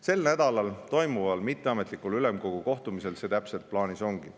Sel nädalal toimuval mitteametlikul ülemkogu kohtumisel see täpselt plaanis ongi.